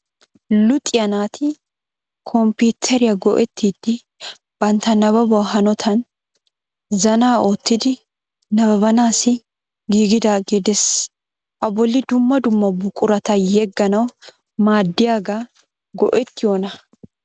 Luxiya naati kompiiteriya go'ettidi bantta nababuwa hanotan zaana oottidi nababanaassi giigidagee des. A bolli dumma dumma buqurata yegganawu maaddiyagaa go'ettiyo naa?